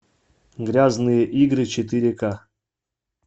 грязные игры четыре ка